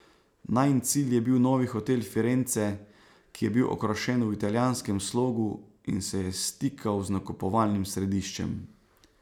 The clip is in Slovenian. Najin cilj je bil novi hotel Firenze, ki je bil okrašen v italijanskem slogu in se je stikal z nakupovalnim središčem.